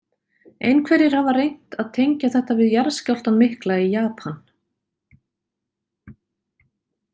Einhverjir hafa reynt að tengja þetta við jarðskjálftann mikla í Japan.